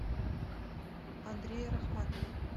андрее рахматове